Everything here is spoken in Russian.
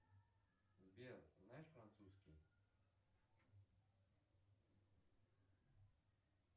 сбер знаешь французский